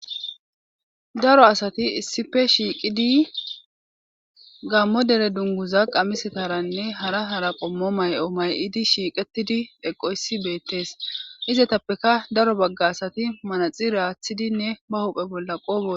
daro asati issipe shiiqidi gammo dere dunguza qamisetaranne hara hara qommo may7o may7idi shiiqetidi eqoysi beettes izatappeka daro bagga asati manaxi raaththidinne ba hophe bolla qoobo